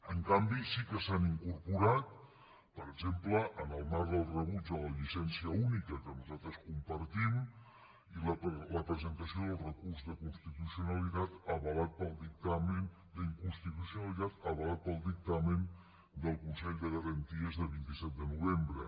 en canvi sí que s’ha incorporat per exemple en el marc del rebuig a la llicència única que nosaltres compartim la presentació del recurs d’inconstitucionalitat avalat pel dictamen del consell de garanties de vint set de novembre